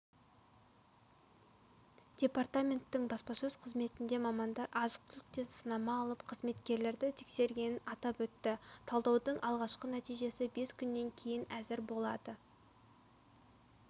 департаменттің баспасөз қызметінде мамандар азық-түліктен сынама алып қазметкерлерді тексергенін атап өтті талдаудың алғашқы нәтижесі бес күннен кейін әзір болады